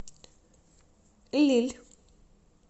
лилль